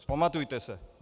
Vzpamatujte se.